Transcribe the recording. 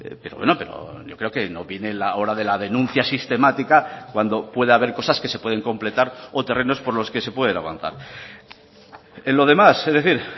pero bueno yo creo que no viene la hora de la denuncia sistemática cuando puede haber cosas que se pueden completar o terrenos por los que se pueden avanzar en lo demás es decir